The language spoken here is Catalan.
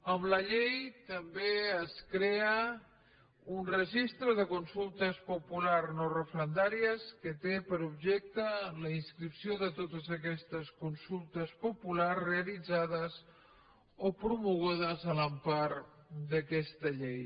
amb la llei també es crea un registre de consultes populars no referendàries que té per objecte la inscripció de totes aquestes consultes populars realitzades o promogudes a l’empara d’aquesta llei